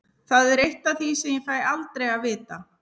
Það er eitt af því sem ég fæ aldrei að vita.